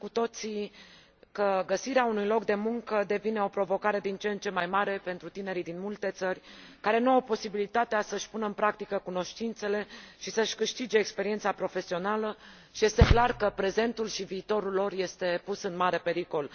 Știm cu toții că găsirea unui loc de muncă devine o provocare din ce în ce mai mare pentru tinerii din multe țări, care nu au posibilitatea să își pună în practică cunoștințele și să își câștige experiența profesională și este clar că prezentul și viitorul lor este pus în mare pericol.